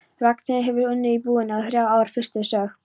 Ragnheiður hefur unnið í búðinni í þrjú ár, fyrst sögð